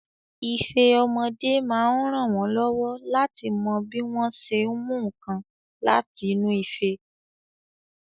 Ife àwọn ọmọdé máa ń rànwọ́ lọ́wọ́ láti mọ bí wọ́n ṣé ń mú nǹkan láti inú ife.